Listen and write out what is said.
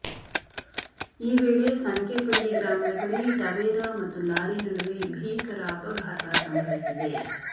ಈ ವೇಳೆ ಸಂಕೇಪಲ್ಲಿ ಗ್ರಾಮದ ಬಳಿ ಟವೇರಾ ಮತ್ತು ಲಾರಿ ನಡುವೆ ಭೀಕರ ಅಪಘಾತ ಸಂಭವಿಸಿದೆ